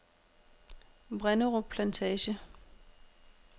Vrenderup Plantage